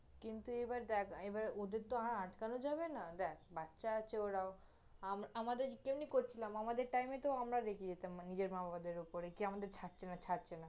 কিন্তু এইবার দেখ, এইবার ওদের তহ আর আটকানো যাবে না, দেখ, বাচ্চা আছে ওরাও, আম~ আমাদের কেমনি করছিলাম? আমাদের time এ তহ আমরা রেগে যেতাম, মানে, নিজের মা-বাবাদের উপরে, যে আমাদের ছাড়ছে না, ছাড়ছে না